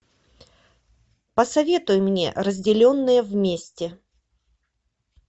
посоветуй мне разделенные вместе